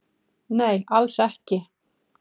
Nei alls ekki